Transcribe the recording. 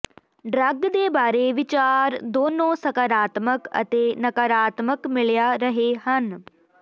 drug ਦੇ ਬਾਰੇ ਵਿਚਾਰ ਦੋਨੋ ਸਕਾਰਾਤਮਕ ਅਤੇ ਨਕਾਰਾਤਮਕ ਮਿਲਿਆ ਰਹੇ ਹਨ